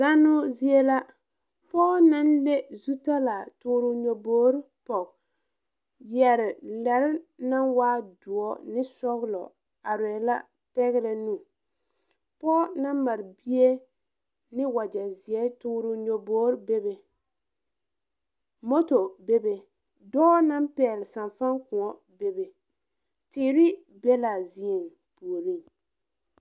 Zanno zie. Pɔgɔ na le zutalaa toore o nyɛbɔre poge, yɛre lɛre na waa duo ne sɔglɔ areɛ la pɛgrɛ nu. Pɔgɔ na mare bie ne wagye zie toore o nyɛbɔre bebe. Moto bebe. Dɔɔ na pɛgle sanfan koɔ bebe. Teere be la a zie pooreŋ.